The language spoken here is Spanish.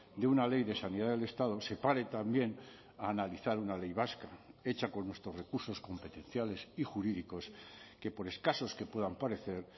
de una ley de sanidad del estado se pare también a analizar una ley vasca hecha con nuestros recursos competenciales y jurídicos que por escasos que puedan parecer